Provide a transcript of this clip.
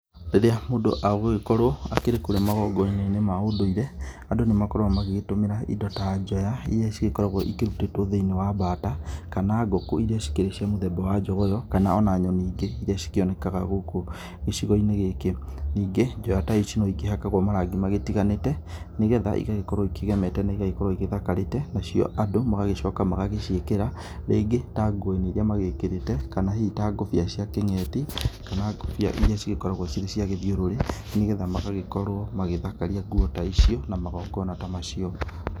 Rĩrĩa mũndũ agũgĩkorwo akĩrĩ kũrĩa magongona-inĩ ma ũndũĩre, andũ nĩmagĩkoragwo magĩgĩtũmĩra indo ta njoya ĩrĩa ĩgĩkoragwo ĩkirutĩtwo thĩiniĩ wa mbata, kana ngũkũ irĩa cikĩrĩ cia mũthemba wa njogoyo kana ona nyoni ĩngĩ irĩa cikĩonekaga gũkũ gĩcigo-inĩ gĩkĩ. Nĩnge njoya ta ici no ikĩhakagwo marangi magĩtiganĩte, nĩgetha igagĩkorwo ikĩgemete na igagĩkorwo ĩthakarĩte nacio andũ magagĩcoka magagĩciĩkĩra rĩngĩ ta nguo-inĩ irĩa magĩkĩrĩte kana hihi ta ngũbia cia kĩng'eti kana ngũbia irĩa cigĩkoragwo cirĩ cia gĩthiũrũrĩ, nĩgetha magagĩkorwo magĩthakaria nguo ta icio na magongona ta macio.